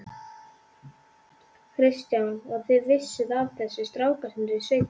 Kristján: Og þið vissuð af þessu, strákarnir í sveitinni?